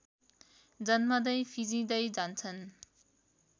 जन्मँदै फिँजिदै जान्छन्